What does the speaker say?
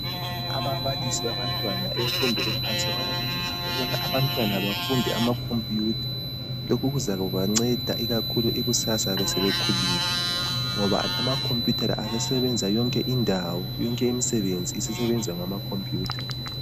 Ababalisi babantwana abakumfundo ephansi bayakhuza ukubana abantwana befunde amacomputer lokhu kuzaluba ngceda kakhulu kusasa sebekhulile ngoba amacomputer la asesebenza yonke indawo yonke imisebenzi zisebenzwa ngama computer